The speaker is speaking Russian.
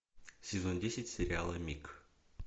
сезон десять сериала мик